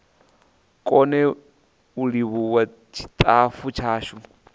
kone u livhuwa tshitafu tshashu